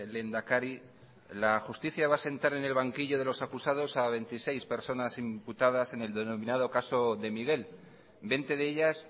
lehendakari la justicia va a sentar en el banquillo de los acusados a veintiséis personas imputadas en el denominado caso de miguel veinte de ellas